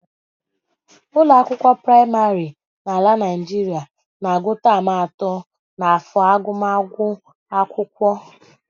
Ụlọakwụkwọ praịmarị n'ala Naijiria na-agụ taam atọ n'afọ agụmakwụkwọ